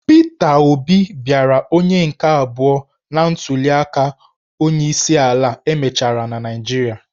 Pita Obi bịara onye nke abụọ na ntuliaka onyeisiala e mechara na Naịjirịa.